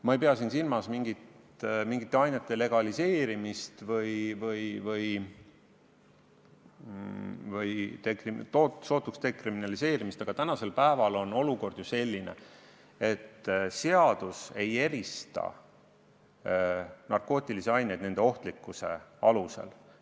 Ma ei pea siin silmas mingite ainete legaliseerimist või sootuks dekriminaliseerimist, aga praegu on olukord ju selline, et seadus ei erista narkootilisi aineid nende ohtlikkuse alusel.